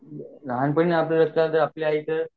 लहान पाणी कस आपल्या इथ